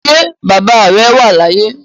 Ṣé bàbá rẹ̀ wà láàyè